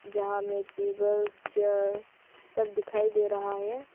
यहां में table chair सब दिखाई दे रहा है।